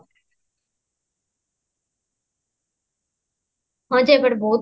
ହଁ ଯେ but ବହୁତ